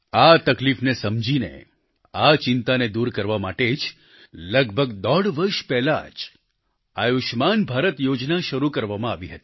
આ તકલીફને સમજીને આ ચિંતાને દૂર કરવા માટે જ લગભગ દોઢ વર્ષ પહેલાં જ આયુષ્યમાન ભારત યોજના શરૂ કરવામાં આવી હતી